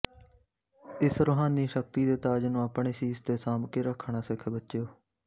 ਇਸ ਰੁਹਾਨੀ ਸ਼ਕਤੀ ਦੇ ਤਾਜ ਨੂੰ ਆਪਣੇ ਸੀਸ ਤੇ ਸਾਂਭ ਕੇ ਰੱਖਣਾ ਸਿੱਖ ਬੱਚਿਓ